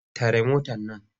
Tare motar nan!